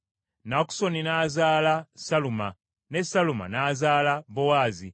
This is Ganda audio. Nakusoni n’azaala Saluma, ne Saluma n’azaala Bowaazi,